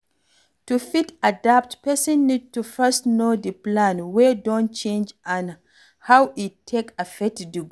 To fit adapt, person need to first know di plan wey don change and how e take affect di goal